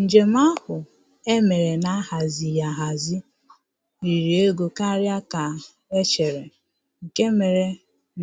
Njem ahụ e mere na-ahazighị ahazi riri ego karịa ka e chere, nke mere